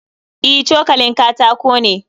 E, cokalin katako ne